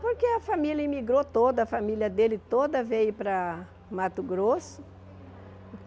Porque a família imigrou toda, a família dele toda veio para Mato Grosso.